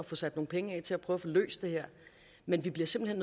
få sat nogle penge af til at prøve at få løst det her men vi bliver simpelt